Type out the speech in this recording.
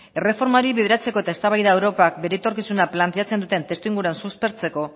erreformari bideratzeko eta eztabaida europak bere etorkizuna planteatzen duten testu inguruan suspertzeko